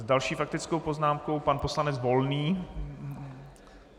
S další faktickou poznámkou pan poslanec Volný.